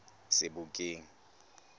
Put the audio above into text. sebokeng